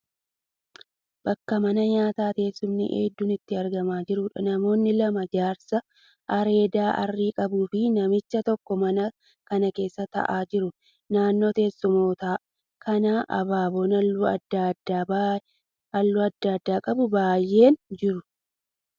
Bakka mana nyaataa teessumni hedduun itti argamaa jiruudha. Namoonni lama, jaarsa areeda arrii qabuu fi namichi tokko mana kana keessa ta'aa jiru. Naannoo teessumoota kanaa abaaboon halluu adda addaa qabu baay'een jiru.